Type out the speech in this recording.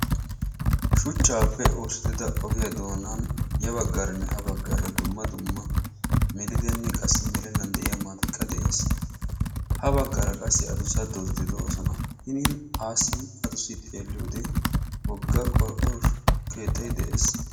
Shuchchaappe oosettida ogiya doonan ya baggaaranne ga baggaara melidanne qassi melennan de"iya maatayi de"es. Ha baggaara qassi adussa doozzati de"oosona. Hini qassi adussi xeelliyode wogfa qorqqoro keettayi de"es.